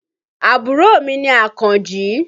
Àbúrò mi ni Àkànjí.